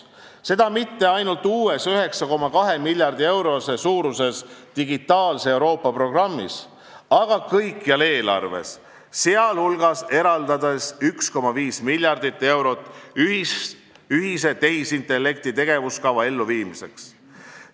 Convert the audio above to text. Seda mitte ainult uues, 9,2 miljardi euro suuruses digitaalse Euroopa programmis, vaid kõikjal eelarves, sh eraldades 1,5 miljardit eurot ühise tehisintellekti tegevuskava elluviimiseks.